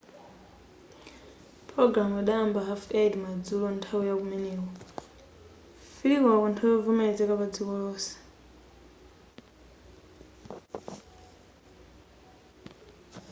pulogalamu idayamba 8:30 madzulo nthawi ya kumeneko 15.00 pa nthawi yovomelezeka pa dziko lonse